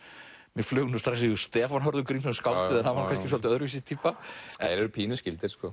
mér flaug nú strax í hug Stefán Hörður Grímsson skáldið en hann var nú kannski svolítið öðruvísi týpa þeir eru pínu skyldir sko